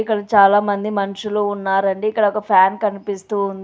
ఇక్కడ చాలామంది మనుషులు ఉన్నారండి. ఇక్కడొక ఫ్యాన్ కనిపిస్తూ ఉంది.